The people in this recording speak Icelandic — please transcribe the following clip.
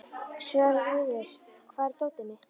Svörfuður, hvar er dótið mitt?